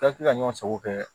ka ɲɔgɔn sago kɛ